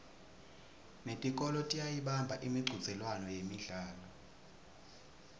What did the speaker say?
netikolwa tiyayibamba imicudzelwano yemidlalo